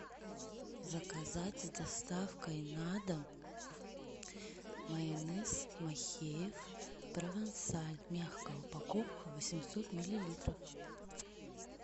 заказать с доставкой на дом майонез махеев провансаль мягкая упаковка восемьсот миллилитров